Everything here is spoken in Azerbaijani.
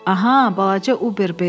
Aha, balaca Uberbein.